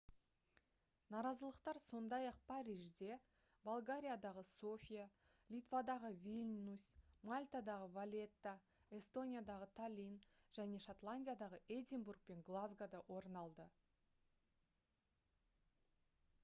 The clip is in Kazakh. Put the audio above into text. наразылықтар сондай-ақ парижде болгариядағы софия литвадағы вильнюс мальтадағы валетта эстониядағы таллин және шотландиядағы эдинбург пен глазгода орын алды